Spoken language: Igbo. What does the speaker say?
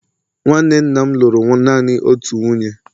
nwanne nna m lụrụ naanị otu nwunye